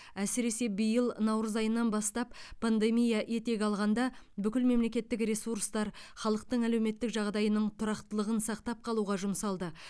әсіресе биыл наурыз айынан бастап пандемия етек алғанда бүкіл мемлекеттік ресурстар халықтың әлеуметтік жағдайының тұрақтылығын сақтап қалуға жұмсалды